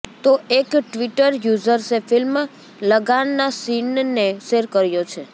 તો એક ટ્વિટર યૂઝર્સે ફિલ્મ લગાનનાં સીનને શેર કર્યો છે